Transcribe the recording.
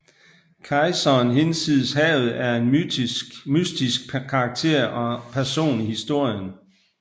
Kejseren Hinsides Havet er en mystisk karakter og person i historien